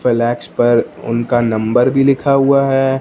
Flex पर उनका number भी लिखा हुआ है।